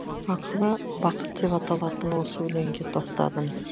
ақыры бақыт деп аталатын осы өлеңге тоқтадым